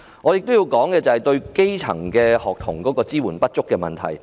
我亦要指出政府對基層學童支援不足的問題。